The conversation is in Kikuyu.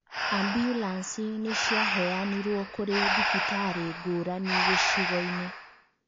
Ambulanĩcĩ nĩ ciahanirwo kũrĩ thibitarĩ ngũrani gĩcigo-inĩ